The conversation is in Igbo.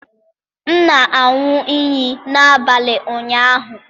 M na-aṅụ iyi n'abalị ụnyaahụ.